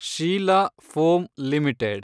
Sheila foam limited